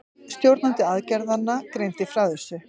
Stjórnandi aðgerðanna greindi frá þessu